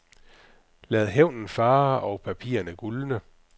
Lad hævnen fare og papirerne gulne.